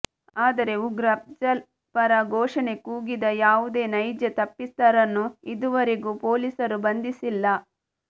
ಆದರೆ ಉಗ್ರ ಅಫ್ಜಲ್ ಪರ ಘೋಷಣೆ ಕೂಗಿದ ಯಾವುದೇ ನೈಜ ತಪ್ಪಿತಸ್ಥರನ್ನು ಇದುವರೆಗು ಪೋಲಿಸರು ಬಂಧಿಸಿಲ್ಲ